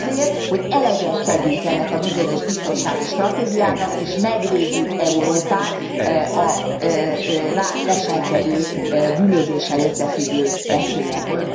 Azért, hogy eleget tegyünk ennek a bizonyos biztonsági stratégiának, és megvédjük Európát a rá leselkedő, bűnözéssel összefüggő veszélyektől.